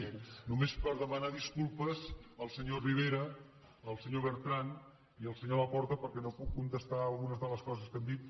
sí només per demanar disculpes al senyor rivera al senyor bertran i al senyor laporta perquè no puc contestar algunes de les coses que han dit